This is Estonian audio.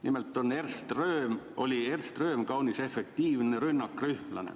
Nimelt oli Ernst Röhm kaunis efektiivne rünnakrühmlane.